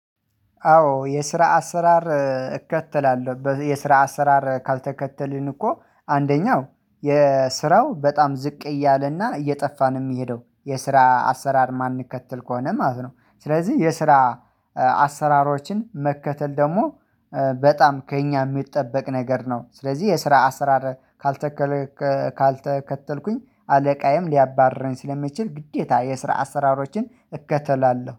አዎ የስራ አሰራር እከተላለሁ የስራ አሰራር ካልተከተልን እኮ አንደኛው የስራው በጣም ዝቅ እያለና እየጠፋ ነው የሚሄደው የስራ አሰራር የማንከትል ከሆነ ማለት ነው። ስለዚህ የስራ አዎ የስራ አሰራር እከተላለሁ። የስራ አሰራር ካልተከተልን እኮ አንደኛው የስራው በጣም ዝቅ እያለና እየጠፋ ነው የሚሄደው የስራ አሰራር የማንከል ከሆነ ማለት ነው። ስለዚህ የስራ